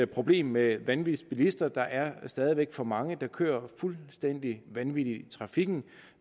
problem med vanvidsbilister der er stadig væk for mange der kører fuldstændig vanvittigt i trafikken